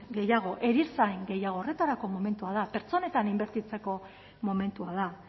gehiago erizain gehiago horretarako momentua da pertsonetan inbertitzeko momentua da